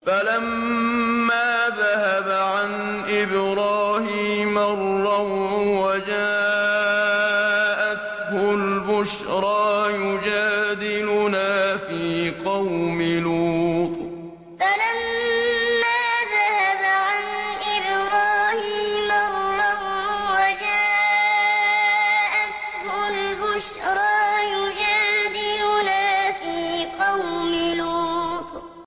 فَلَمَّا ذَهَبَ عَنْ إِبْرَاهِيمَ الرَّوْعُ وَجَاءَتْهُ الْبُشْرَىٰ يُجَادِلُنَا فِي قَوْمِ لُوطٍ فَلَمَّا ذَهَبَ عَنْ إِبْرَاهِيمَ الرَّوْعُ وَجَاءَتْهُ الْبُشْرَىٰ يُجَادِلُنَا فِي قَوْمِ لُوطٍ